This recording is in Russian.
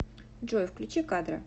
джой включи кадра